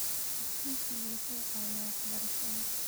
Aqoonsigu wuxuu caawiyaa waxbarashada.